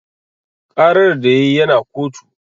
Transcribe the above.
Ƙarar da yayi yana kotu